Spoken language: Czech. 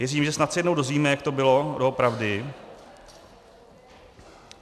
Věřím, že snad se jednou dozvíme, jak to bylo doopravdy.